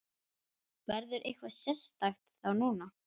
Verður eitthvað sérstakt þá núna?